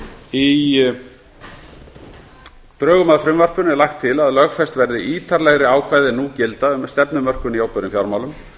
í drögum að frumvarpinu er lagt til að lögfest verði ítarlegri ákvæði en nú gilda um stefnumörkun í opinberum fjármálum